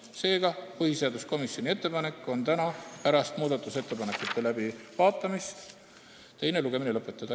Seega, põhiseaduskomisjoni ettepanek on see, et täna pärast muudatusettepanekute läbivaatamist tuleks teine lugemine lõpetada.